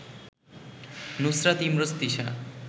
Nusrat Imrose Tisha